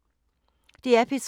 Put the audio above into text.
DR P3